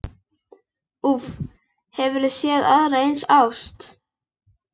Úff, hefurðu séð aðra eins ást?